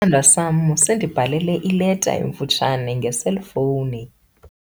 Isithandwa sam sindibhalele ileta emfutshane ngeselfowuni.